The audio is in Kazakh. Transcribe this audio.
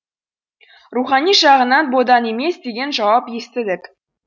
рухани жағынан бодан емес деген жауап естідік